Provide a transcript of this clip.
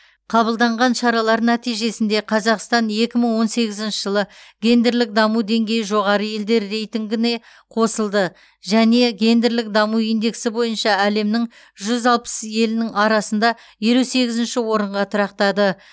қабылданған шаралар нәтижесінде қазақстан екі мың он сегізінші жылы гендерлік даму деңгейі жоғары елдер рейтингіне қосылды және гендерлік даму индексі бойынша әлемнің жүз алпыс елінің арасында елу сегізінші орынға тұрақтады